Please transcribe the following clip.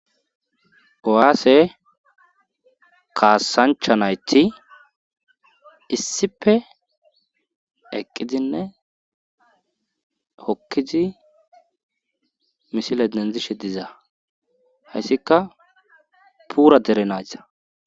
Kowaase kaasancha nayti issipe eqqidinne hokkizi misile denzishe diza hayssika puura dere nayita